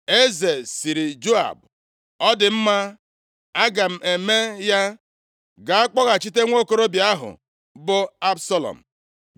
Eze sịrị Joab, “Ọ dị mma, aga m eme ya. Gaa kpọghachite nwokorobịa ahụ bụ Absalọm.”